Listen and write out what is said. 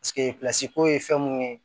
ko ye fɛn mun ye